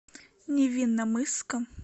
невинномысска